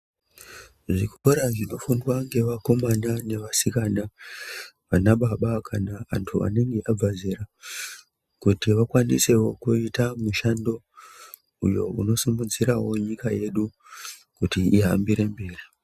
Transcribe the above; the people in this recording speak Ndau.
Zvikora zvinofundwa ngevakomana nevasikana ,anababa kana antu anenge abva zera kuti vakwanisewo kuita mishando uyo unosimidzirawo nyika yedu kuti ihambire mberi.